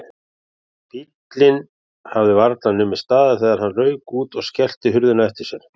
Bíllinn hafði varla numið staðar þegar hann rauk út og skellti hurðinni á eftir sér.